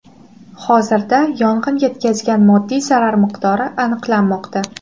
Hozirda yong‘in yetkazgan moddiy zarar miqdori aniqlanmoqda.